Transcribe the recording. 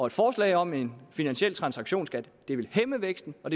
et forslag om en finansiel transaktionsskat vil hæmme væksten og